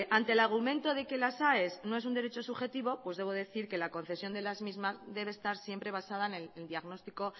ante el argumento de que las aes no es un derecho subjetivo debo decir que la concesión de las mismas debe estar siempre basada en el diagnóstico